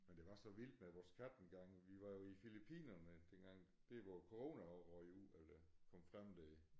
Men det var så vildt med vores kat engang vi var jo i Filippinerne dengang der hvor corona røg ud eller det kom frem der